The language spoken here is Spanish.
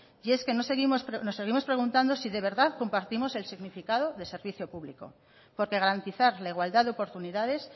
y es que nos seguimos preguntando si de verdad compartimos el significado de servicio público porque garantizar la igualdad de oportunidades